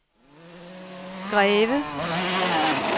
Greve